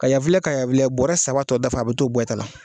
Ka ya filɛ ka ya filɛ bɔrɛ saba tɔ dafa a bɛ t'o bɔ i ta la.